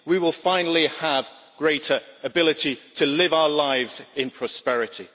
We will finally have greater ability to live our lives in prosperity'.